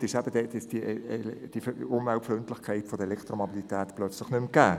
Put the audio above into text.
Nimmt man es doch auseinander, ist die Umweltfreundlichkeit der Elektromobilität plötzlich nicht mehr gegeben.